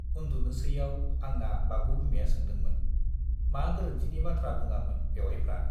उन्दुनोसैयाव आंना बाबु बिमाया सोंदोंमोन, मा गोरोन्थिनि बाथ्रा बुङामोन बेउवाइफ्रा?